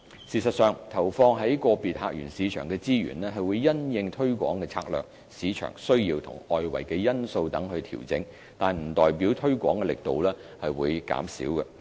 事實上，投放於個別客源市場的資源，會因應推廣策略、市場需要及外圍因素等調整，但不代表推廣力度會減少。